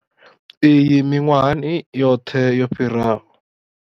Iyi miṅwahani yoṱhe yo fhiraho.